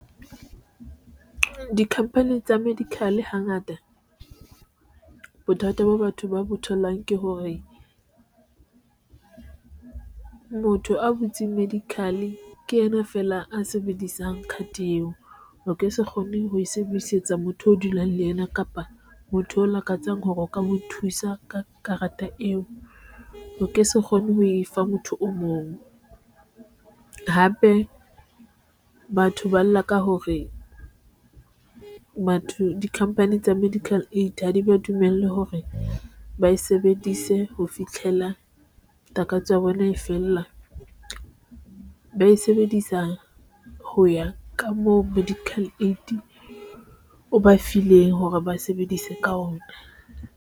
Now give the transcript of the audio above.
Di-company tsa medical hangata bothata bo batho ba bo tholang ke hore, motho a butseng medical ke yena feela a sebedisang card eo o ke se kgone ho e sebedisetsa motho o dulang le yena kapa motho o lakatsang hore o ka mo thusa ka karata eo, o ke se kgone ho e fa motho o mong hape batho ba lla ka hore batho dicompany tsa medical aid ha di ba dumellwe hore ba e sebedise ho fitlhela. Takatso ya bo ena e fela ba e sebedisa ho ya ka moo medical aid o ba fileng hore ba sebedise ka ona.